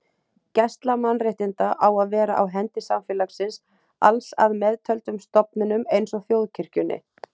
Gæsla mannréttinda á að vera á hendi samfélagsins alls að meðtöldum stofnunum eins og þjóðkirkjunni.